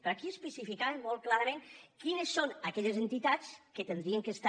però aquí especificàvem molt clarament quines són aquelles entitats que haurien de ser hi